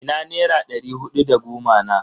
Ina nera ɗari hudu da goma na?